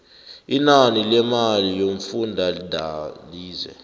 inani lemali yomfundalize